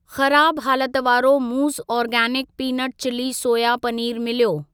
ख़राब हालत वारो मूज़ organic peanut chilli soya paneer मिलियो।